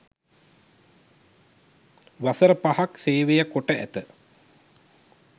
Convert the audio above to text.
වසර පහක් සේවය කොට ඇත